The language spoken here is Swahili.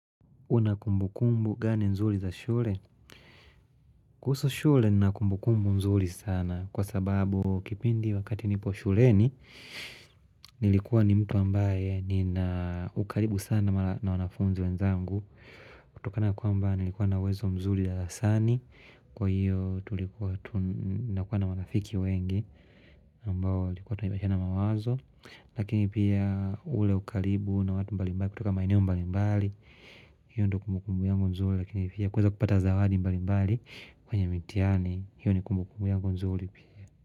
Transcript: Una kumbukumbu gani nzuri za shule? Kuhusu shule na kumbukumbu nzuri sana kwa sababu kipindi wakati nipo shuleni nilikuwa ni mtu ambaye nina ukaribu sana na wanafunzi wenzangu kutokana kuamba nilikuwa na wezo mzuri darasani kwa hiyo tulikuwa tunakuwa na wanafiki wengi ambao likuwa tunabadilisha mawazo Lakini pia ule ukalibu na watu mbali mbali kutoka maeneo mbali mbali hiyo ndo kumukumbu yangu nzuli Lakini pia kweza kupata zawadi mbali mbali kwenye mitiani hiyo ni kumukumbu yangu nzuli pia.